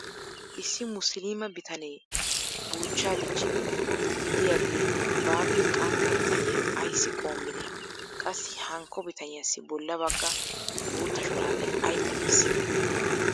issi mussiliima bitanee buuchchaa dichchidi diyaagee baappe qantta bitaniya ayssi qoomidee? qassi hankko bitaniyassi bola baga bootta shuraabee ay qonccissii?